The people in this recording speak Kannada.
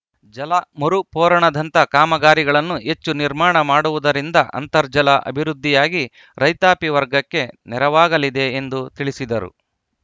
ಜಲ ಮರುಪೂರಣದಂತ ಕಾಮಗಾರಿಗಳನ್ನು ಹೆಚ್ಚು ನಿರ್ಮಾಣ ಮಾಡುವುದರಿಂದ ಅಂತರ್ಜಲ ಅಭಿವೃದ್ಧಿಯಾಗಿ ರೈತಾಪಿ ವರ್ಗಕ್ಕೆ ನೆರವಾಗಲಿದೆ ಎಂದು ತಿಳಿಸಿದರು